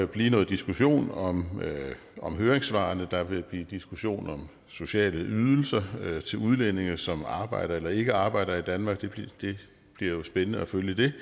blive noget diskussion om om høringssvarene der vil blive diskussion om sociale ydelser til udlændinge som arbejder eller ikke arbejder i danmark det bliver jo spændende at følge det